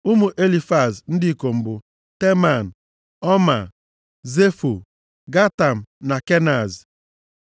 Ụmụ Elifaz ndị ikom bụ, Teman, Ọmaa, Zefo, Gatam na Kenaz.